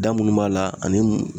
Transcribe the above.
Da minnu b'a la ani